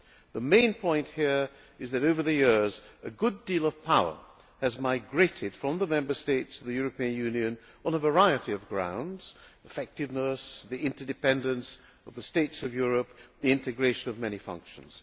The main point here is that over the years a good deal of power has migrated from the Member States to the European Union on a variety of grounds effectiveness, the interdependence of the states of Europe, the integration of many functions.